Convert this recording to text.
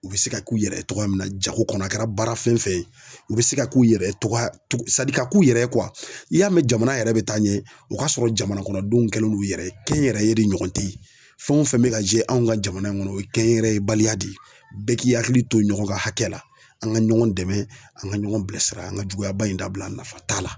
U bɛ se ka k'u yɛrɛ ye cogoya min na jago kɔnɔ a kɛra baara fɛn fɛn ye u bɛ se ka k'u yɛrɛ ye togoya ka k'u yɛrɛ ye n'i y'a mɛn jamana yɛrɛ bɛ taa ɲɛ o k'a sɔrɔ jamana kɔnɔ denw kɛlen do yɛrɛ ye kɛnyɛrɛye de ɲɔgɔn teyi fɛn o fɛn bɛ ka kɛ anw ka jamana in kɔnɔ o ye kɛnyɛrɛye baliya de ye bɛɛ k'i hakili to ɲɔgɔn ka hakɛ la an ka ɲɔgɔn dɛmɛ an ka ɲɔgɔn bilasira an ka juguyaba in dabila nafa t'a la.